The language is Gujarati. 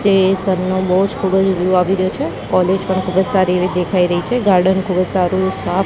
જે સન નો બોજ ખુબજ વ્યુ આવી રહ્યો છે કૉલેજ પણ ખુબજ સારી એવી દેખાય રહી છે ગાર્ડન ખુબજ સારૂ સા--